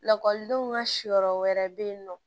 Lakɔlidenw ka yɔrɔ wɛrɛ bɛ yen nɔ